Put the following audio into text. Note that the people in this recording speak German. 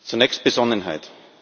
Zunächst Besonnenheit.